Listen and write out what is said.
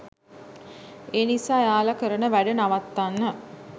ඒ නිසා එයාලා කරන වැඩ නවත්වන්න